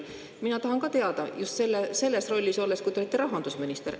Mina tahan teada just selle rolli kohta, kui te olite rahandusminister.